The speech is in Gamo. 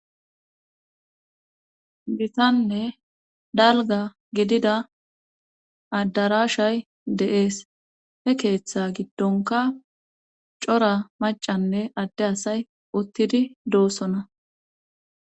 Gitanne dalga gidida addarashay deees he keeththa giddonka cora macanne adde asay uttidi doossona.